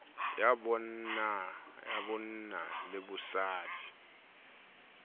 ya bonna le bosadi ho